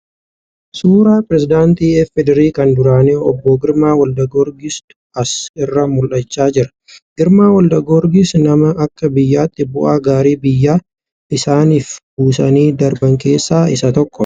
Suura pireezidaantii FDRI kan duraanii Obbo Girmaa Walda Giyoorgis 'tu as irraa mul'achaa jira . Girmaa Walda Giyoorgis namoota akka biyyaatti bu'aa gaarii biyya isaaniif buusanii darban keessaa isaan tokko.